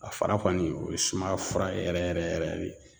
A fara kɔni o ye sumaya fura yɛrɛ yɛrɛ yɛrɛ de.